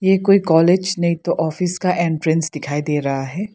ये कोई कॉलेज नहीं तो ऑफिस का एंट्रेंस दिखाई दे रहा है।